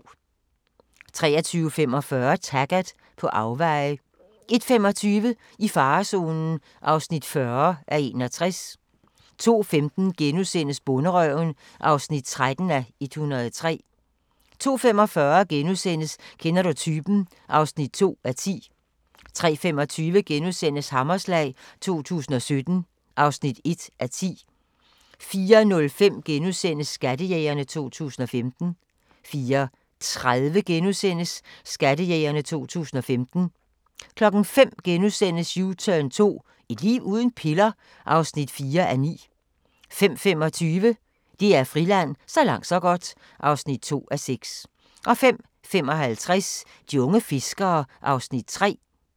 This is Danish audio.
23:45: Taggart: På afveje 01:25: I farezonen (40:61) 02:15: Bonderøven (13:103)* 02:45: Kender du typen? (2:10)* 03:25: Hammerslag 2017 (1:10)* 04:05: Skattejægerne 2015 * 04:30: Skattejægerne 2015 * 05:00: U-turn 2 – et liv uden piller? (4:9)* 05:25: DR Friland: Så langt så godt (2:6) 05:55: De unge fiskere (Afs. 3)